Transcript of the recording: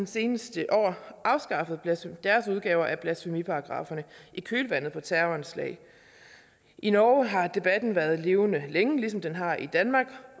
seneste år afskaffet deres udgave af blasfemiparagraffen i kølvandet på terroranslag i norge har debatten været levende længe ligesom den har i danmark